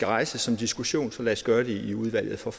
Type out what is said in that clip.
rejses en diskussion så lad os gøre det i udvalget for